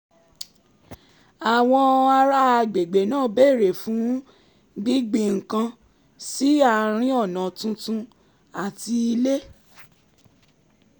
àwọn ará àgbègbè náà béèrè fún gbíngbin nǹkan sí àárín ọ̀nà tuntun àti ilé